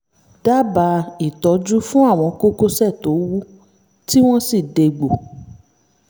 dábàá ìtọ́jú fún àwọn kókósẹ̀ tó wú tí wọ́n sì dégbò